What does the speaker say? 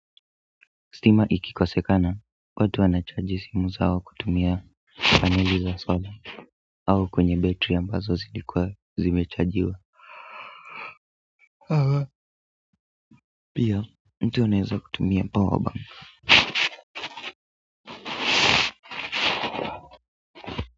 Stima ikikosekana watu wanachargi simu zao kutumia paneli za sola au kwenye battery ambazo zilikuwa zimechargiwa haa pia mtu anaweza kutumia powerbank.